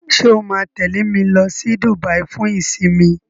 ṣe o ma tẹle me ló sì Dubai fún isinmi?